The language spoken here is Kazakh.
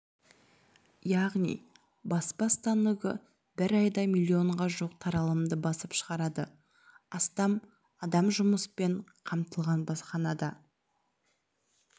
яғни баспа станогы бір айда миллионға жуық таралымды басып шығарады астам адам жұмыспен қамтылған баспаханада